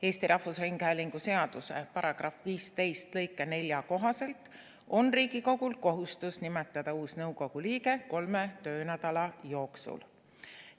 Eesti Rahvusringhäälingu seaduse § 15 lõike 4 kohaselt on Riigikogul kohustus nimetada uus nõukogu liige kolme töönädala jooksul.